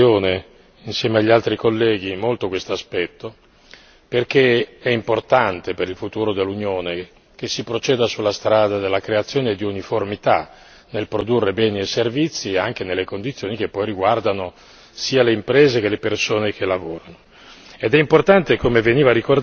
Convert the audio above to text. Abbiamo sottolineato nella relazione, insieme agli altri colleghi, molto questo aspetto perché è importante per il futuro dell'Unione, che si proceda sulla strada della creazione e di uniformità nel produrre bene i servizi anche nelle condizioni che poi riguardano sia le imprese che le persone che lavorano.